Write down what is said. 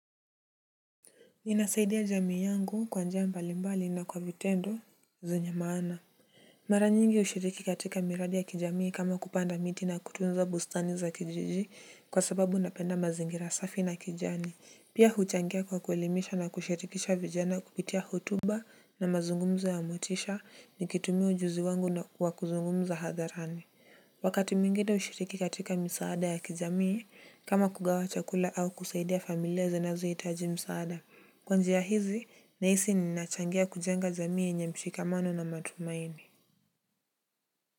Ninasaidia jamii yangu kwa njia mbalimbali na kwa vitendo zenye maana. Mara nyingi hushiriki katika miradi ya kijamii kama kupanda miti na kutunza bustani za kijiji kwa sababu napenda mazingira safi na kijani pia huchangia kwa kuelimisha na kushirikisha vijana kupitia hotuba na mazungumzo ya motisha nikitumia ujuzi wangu wa kuzungumza hadharani. Wakati mwingine hushiriki katika misaada ya kijamii kama kugawa chakula au kusaidia familia zinazohitaji msaada kwa njia hizi nahisi ninachangia kujenga jamii yenye mshikamano na matumaini.